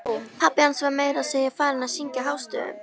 Pabbi hans var meira að segja farinn að syngja hástöfum!